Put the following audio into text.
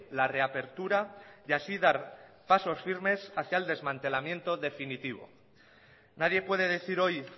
la reapertura y así dar pasos firmes hacia el desmantelamiento definitivo nadie puede decir hoy